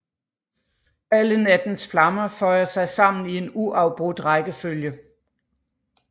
Alle nattens flammer føjer sig sammen i en uafbrudt rækkefølge